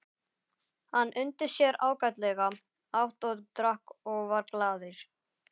Hann undi sér ágætlega, át og drakk og var glaður.